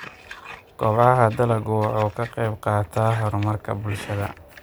Kobaca dalaggu waxa uu ka qayb qaataa horumarka bulshada.